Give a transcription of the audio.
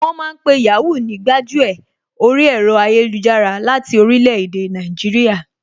Wọ́n ma ń pe Yàhoo ní gbájú ẹ̀ orí ẹ̀rọ ayélujára láti orílẹ̀ èdè Nàìjíríà